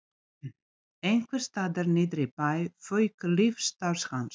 Einhvers staðar niðri í bæ fauk lífsstarf hans.